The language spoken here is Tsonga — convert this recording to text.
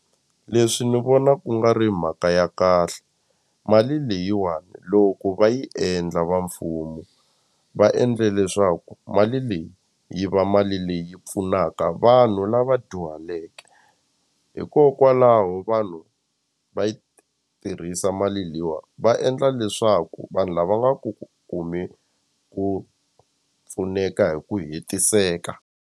Leswi ni vona ku nga ri mhaka ya kahle mali leyiwani loko va yi endla va mfumo va endle leswaku mali leyi yi va mali leyi pfunaka vanhu lava dyuhaleke hikokwalaho vanhu va yi tirhisa mali leyiwa va endla leswaku vanhu lava ku kumi ku pfuneka hi ku hetiseka.